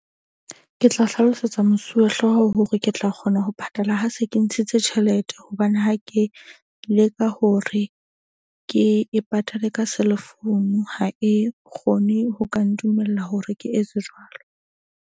Ke tla hlalosetsa mosuwehlooho hore ke tla kgona ho patala. Ha se ke ntshitse tjhelete. Hobane ha ke leka hore ke e patale ka cell phone ha e kgone ho ka ntumella hore ke etse jwalo.